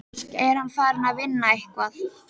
Er hann farinn að vinna eitthvað?